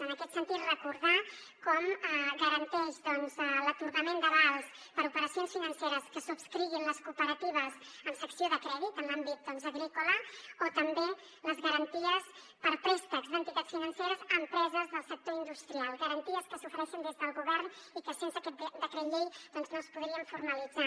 en aquest sentit recordar com garanteix doncs l’atorgament d’avals per a operacions financeres que subscriguin les cooperatives amb secció de crèdit en l’àmbit agrícola o també les garanties per a préstecs d’entitats financeres a empreses del sector industrial garanties que s’ofereixen des del govern i que sense aquest decret llei no es podrien formalitzar